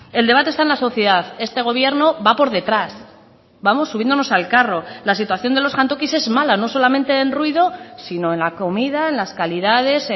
el debate está en la sociedad este gobierno va por detrás vamos subiéndonos al carro la situación de los jantokis es mala no solamente en ruido sino en la comida en las calidades